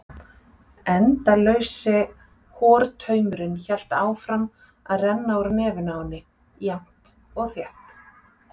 Endalausi hortaumurinn hélt áfram að renna úr nefinu á henni, jafnt og þétt.